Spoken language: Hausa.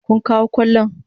Kun kawo kwallon?